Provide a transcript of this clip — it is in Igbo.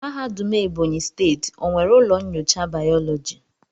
Mahadum ebonyi steeti o nwere ụlọ nyocha biology?